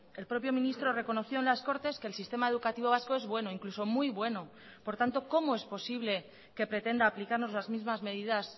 el propio ministro reconoció en las cortes que el sistema educativo vasco es bueno incluso muy bueno por tanto cómo es posible que pretenda aplicarnos las mismas medidas